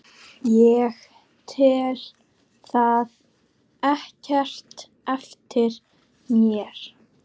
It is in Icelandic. Ég tel það ekkert eftir mér.